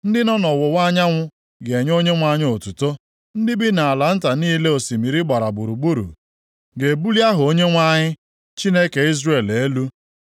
Ndị nọ nʼọwụwa anyanwụ ga-enye Onyenwe anyị otuto. Ndị bi nʼala nta niile osimiri gbara gburugburu ga-ebuli aha Onyenwe anyị, Chineke Izrel elu.